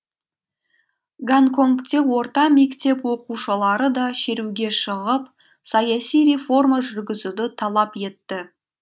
гонконгте орта мектеп оқушылары да шеруге шығып саяси реформа жүргізуді талап етті